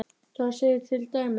Þar segir til dæmis